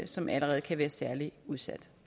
som allerede kan være særlig udsat